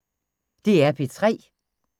DR P3